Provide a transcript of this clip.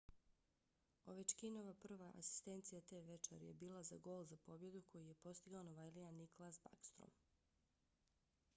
ovechkinova prva asistencija te večeri je bila za gol za pobjedu koji je postigao novajlija nicklas backstrom;